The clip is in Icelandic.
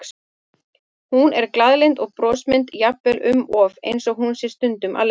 Hún er glaðlynd og brosmild, jafnvel um of, eins og hún sé stundum að leika.